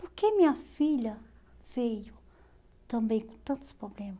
Por que minha filha veio também com tantos problemas?